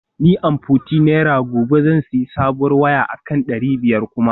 Ni amforty naira gobe zan sayi sabuwar waya akan dari biyar kuma